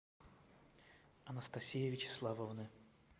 анастасии вячеславовны